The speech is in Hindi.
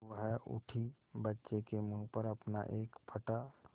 वह उठी बच्चे के मुँह पर अपना एक फटा